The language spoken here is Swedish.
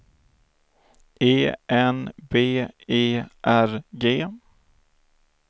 E N B E R G